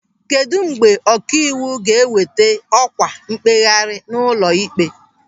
Kedụ mgbe ọkaiwu ga-eweta ọkwa mkpegharị n'ụlọịkpe?